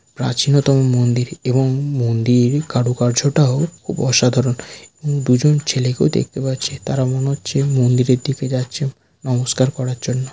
প্রাচীনতম মন্দির এবং মন্দির কারুকার্যটাও খুব অসাধারণ দুজন ছেলেকেও দেখতে পাচ্ছে তারা মনে হচ্ছে মন্দিরের দিকে যাচ্ছে নমস্কার করার জন্য।